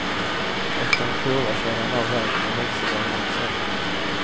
Efter en kurva körde han av vägen och växellådan gick sönder.